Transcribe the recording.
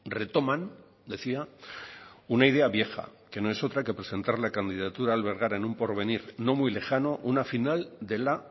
retoman decía una idea vieja que no es otra que presentar la candidatura a albergar en un porvenir no muy lejano una final de la